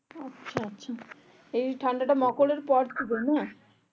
এই ঠান্ডা তা মকল এর পর থেকে না